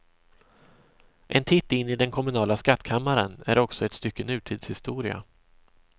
En titt in i den kommunala skattkammaren är också ett stycke nutidshistoria.